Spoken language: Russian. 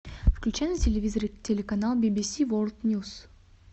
включи на телевизоре телеканал би би си ворлд ньюс